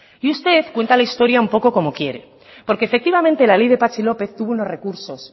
y usted cuenta la historia un poco como quiere porque efectivamente la ley de patxi lópez tuvo unos recursos